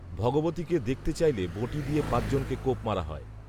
ভগবতীকে দেখতে চাইলে বঁটি দিয়ে পাঁচ জনকে কোপ মারা হয়